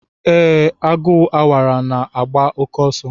Ee, Agu Awara na-agba oke oso.